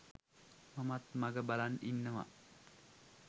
මමත් මග බලන් ඉන්නවා.